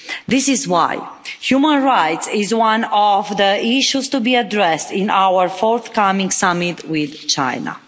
This is why human rights are one of the issues to be addressed in our forthcoming summit with China.